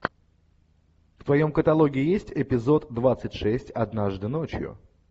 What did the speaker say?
в твоем каталоге есть эпизод двадцать шесть однажды ночью